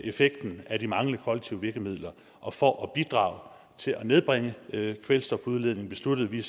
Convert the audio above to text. effekten af de manglende kollektive virkemidler og for at bidrage til at nedbringe kvælstofudledningen besluttede vi